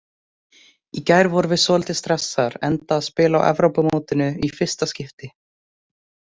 Í gær vorum við svolítið stressaðar enda að spila á Evrópumótinu í fyrsta skipti.